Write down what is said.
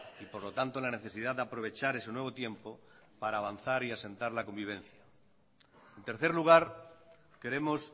y por lo tanto la necesidad de aprovechar ese nuevo tiempo para avanzar y asentar la convivencia en tercer lugar queremos